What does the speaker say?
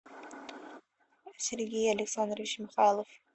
сергей александрович михайлов